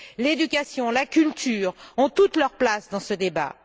L'éducation, la culture ont toute leur place dans ce débat.